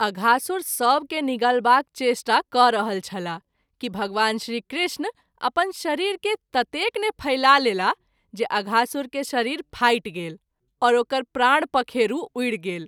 अघासुर सभ के निगलबाक चेष्टा क’ रहल छलाह कि भगवान श्री कृष्ण अपन शरीर के ततेक ने फैला लेलाह जे अघासुर के शरीर फाटि गेल और ओकर प्राण पखेरू उरि गेल।